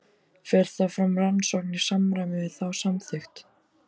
Fer þá fram rannsókn í samræmi við þá samþykkt.